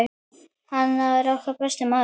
Hann var okkar besti maður.